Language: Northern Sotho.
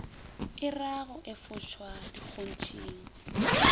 e ra go efošwa dikgontšhing